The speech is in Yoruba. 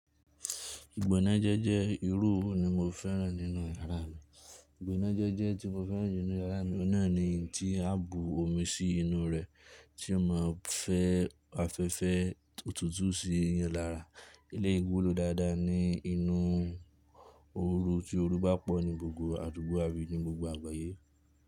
Ìgbónájẹ́ jẹ́ irú òru ní mo fẹ́ràn nínú yàrá mi. Ìgbónájẹ́ jẹ́ tí mo fẹ́ràn jù ní yàrá mi, ọ́nà ni tí á bu omi sí inú rẹ̀ tí ó máa fẹ́ afẹ́fẹ́ òtútù sí iyan lára. Ilé gbúrò dáadáa ni inú òru tí òru bá pọ̀ ní gbogbo àdúgbò àbí ní gbogbo àgbáyé.